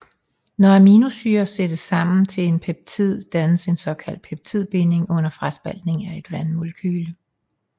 Når aminosyrer sættes sammen til peptider dannes en såkaldt peptidbinding under fraspaltning af et vandmolekyle